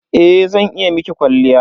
Eh zan iya miki kwalliya.